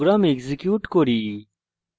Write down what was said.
program execute করি